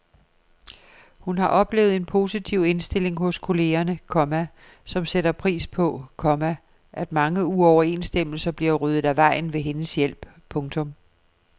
Hun har oplevet en positiv indstilling hos kollegerne, komma som sætter pris på, komma at mange uoverensstemmelser bliver ryddet af vejen ved hendes hjælp. punktum